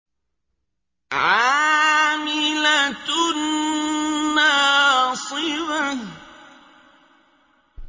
عَامِلَةٌ نَّاصِبَةٌ